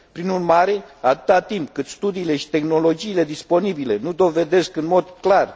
Prin urmare, atât timp cât studiile și tehnologiile disponibile nu dovedesc în mod clar